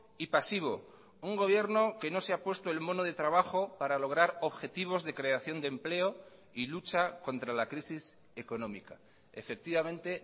y pasivo un gobierno que no se ha puesto el mono de trabajo para lograr objetivos de creación de empleo y lucha contra la crisis económica efectivamente